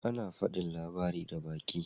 Ana fadin labari da baki.